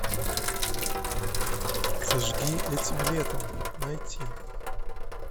зажги этим летом найти